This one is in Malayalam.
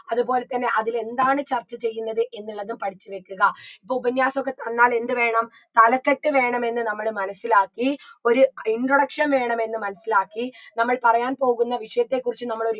അതുപോലെ തന്നെ അതിൽ എന്താണ് ചർച്ച ചെയ്യുന്നത് എന്നുള്ളതും പഠിച്ച് വെക്കുക ഇപ്പൊ ഉപന്യാസൊക്കെ തന്നാൽ എന്ത് വേണം തലക്കെട്ട് വേണമെന്ന് നമ്മൾ മനസിലാക്കി ഒരു introduction വേണമെന്ന് മനസ്സിലാക്കി നമ്മൾ പറയാൻ പോകുന്ന വിഷയത്തെ കുറിച്ച് നമ്മളൊരു